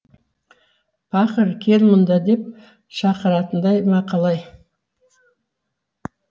пақыр кел мұнда деп шақыратындай ма қалай